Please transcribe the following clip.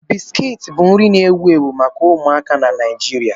Biscuits bụ nri na-ewu ewu maka ụmụaka na Nigeria.